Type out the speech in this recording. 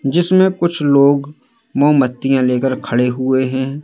जिसमें कुछ लोग मोमबत्तियां लेकर खड़े हुए है।